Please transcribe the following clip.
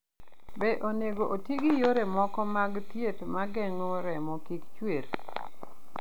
Be onego oti gi yore moko mag thieth ma geng'o remo kik chwer?